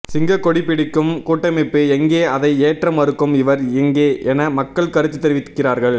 சிங்கக்கொடி பிடிக்கும் கூட்டமைப்பு எங்கே அதை ஏற்ற மறுக்கும் இவர் எங்கே என மக்கள் கருத்து தெரிவிக்கிறார்கள்